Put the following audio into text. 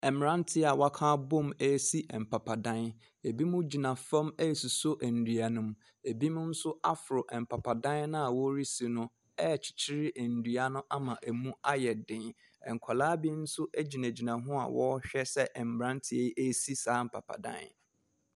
Mmeranteɛ a wɔaka abɔm resi mpapadam. Binom gyina fam asosɔ nnua no mu. Binom nso aforo mpapadan no a wɔresi no rekyekyere nnua no ama ɛmu ayɛ den. Nkwadaa bi nso gyinagyina ho a wɔrehwɛ sɛ mmeranteɛ yi resi saa mpapadan.